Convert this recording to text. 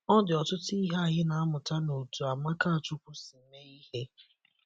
Ọ dị ọtụtụ ihe anyị na - amụta n’otú Amakachukwu si mee ihe.